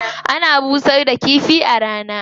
Ana busar da kifi a rana.